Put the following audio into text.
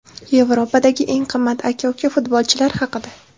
Yevropadagi eng qimmat aka-uka futbolchilar haqida.